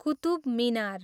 Qutub Minar